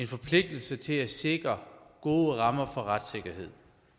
forpligtelse til at sikre gode rammer for retssikkerhed